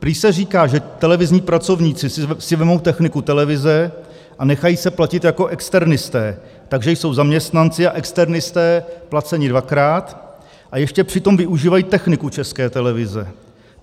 Prý se říká, že televizní pracovníci si vezmou techniku televize a nechají se platit jako externisté, takže jsou zaměstnanci a externisté placeni dvakrát, a ještě přitom využívají techniku České televize.